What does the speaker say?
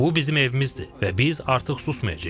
Bu bizim evimizdir və biz artıq susmayacağıq.